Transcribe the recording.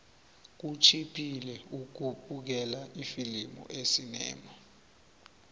kutjhiphile ukubukela ifilimu esinema